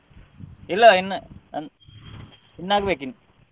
ಇಲ್ಲ ಇನ್ನು ಅನ್~ ಇನ್ನು ಆಗ್ಬೇಕ್ ಇನ್ನು.